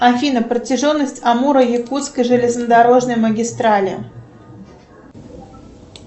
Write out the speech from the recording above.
афина протяженность амуро якутской железнодорожной магистрали